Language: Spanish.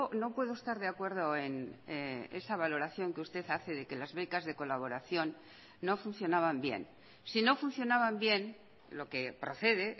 no puedo estar de acuerdo en esa valoración que usted hace de que las becas de colaboración no funcionaban bien si no funcionaban bien lo que procede